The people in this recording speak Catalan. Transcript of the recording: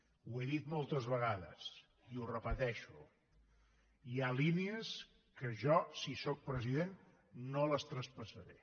ho he dit moltes vegades i ho repeteixo hi ha línies que jo si sóc president no les traspassaré